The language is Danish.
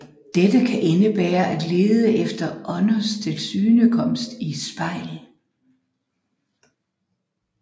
Dette kan indebære at lede efter ånders tilsynekomst i et spejl